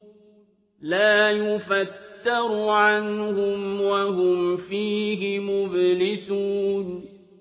لَا يُفَتَّرُ عَنْهُمْ وَهُمْ فِيهِ مُبْلِسُونَ